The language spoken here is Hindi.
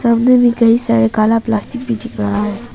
सामने में कई सारे काला प्लास्टिक भी दिख रहा है।